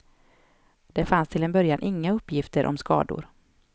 Det fanns till en början inga uppgifter om skador.